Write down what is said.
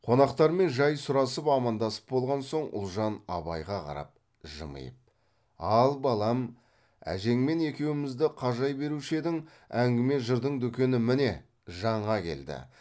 қонақтармен жай сұрасып амандасып болған соң ұлжан абайға қарап жымиып ал балам әжеңмен екеумізді қажай беруші едің әңгіме жырдың дүкені міне жаңа келді